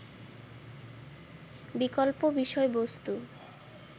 বিকল্প বিষয়বস্তু